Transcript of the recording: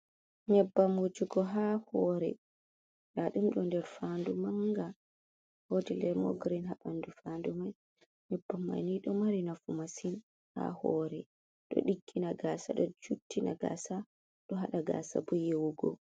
Nyebbam wojugo haa hoore, nda ɗum ɗo der faandu manga, woodi lemon girin Haa ɓandu faandu mai, nyebbam mai ni ɗo mari nafu masin haa hoore, ɗo diggina gaasa, ɗo juttina gaasa, ɗo haɗa gaasa bo yewugo.